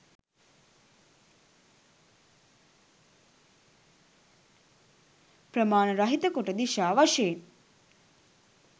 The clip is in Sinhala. ප්‍රමාණ රහිත කොට දිශා වශයෙන්